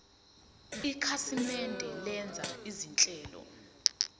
ikhasimende lenza izinhlelo